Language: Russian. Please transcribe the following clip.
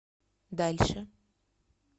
дальше